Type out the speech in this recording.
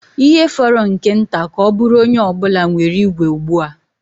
Ihe fọrọ nke nta ka ọ bụrụ onye ọ bụla nwere igwe ugbu a.